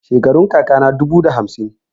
Shekarun kaka ta dubu da hamsin.